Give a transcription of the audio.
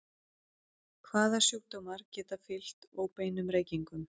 Hvaða sjúkdómar geta fylgt óbeinum reykingum?